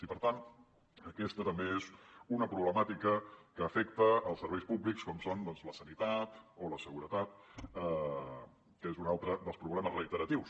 i per tant aquesta també és una problemàtica que afecta els serveis públics com són doncs la sanitat o la seguretat que és un altre dels problemes reiteratius